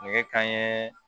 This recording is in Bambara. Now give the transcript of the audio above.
Nɛgɛ kanɲɛ